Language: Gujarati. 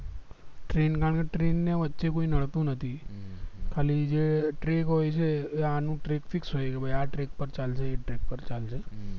train એટલે train વચ્ચે કોઈ નડતું નથી ખાલી જે track હોય છે એ આની fix પર ચાલશે એજ track ઉપર ચાલશે